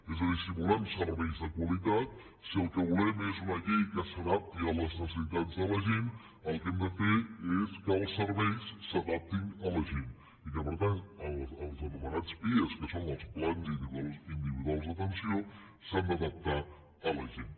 és a dir si volem serveis de qualitat si el que volem és una llei que s’adapti a les necessitats de la gent el que hem de fer és que els serveis s’adaptin a la gent i per tant els anomenats pia que són els plans individuals d’atenció s’han d’adaptar a la gent